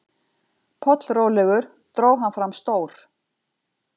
Pollrólegur dró hann fram stór